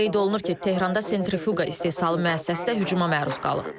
Qeyd olunur ki, Tehranda sentrifuqa istehsalı müəssisəsi də hücuma məruz qalıb.